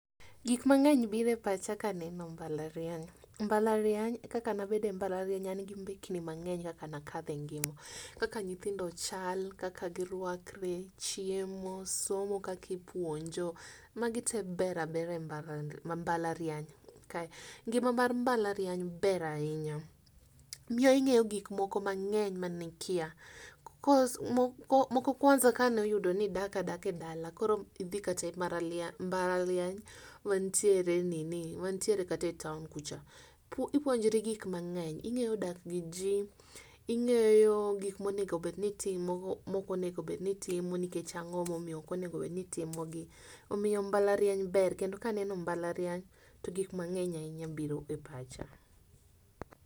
Gik mang'eny biro e pacha kaneno mbalariany. Mbalariany kaka nabedo e mbalariany an gi mbekni mang'eny kaka na kadho e ngima. Kaka nyithindo chal, kaka girwakre, chiemo, somo, kaka ipuonjo. Magi te ber abera e mbalariany. Ngima mar mbalariany ber ahinya. Miyo ing'eyo gik moko mang'eny mane ikiya. cos moko kwanza kane oyudo ni idak adaka e dala, koro idhi kata e mbalariany mantiere e nini mantiere kata e town kucha, ipuonjri gik mang'eny. Ing'eyo dak gi ji, ing'eyo gik monego bed ni itimo, mok onego bed ni itimo, nikech ang'o momiyo ok onego bed ni itimo gi. Omiyo mbalariany ber. Kendo kaneno mbalariany to gik mang'eny ahinya biro e pacha.